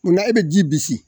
Munna e bɛ ji bisi.